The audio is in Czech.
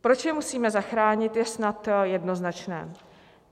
Proč je musíme zachránit, je snad jednoznačné.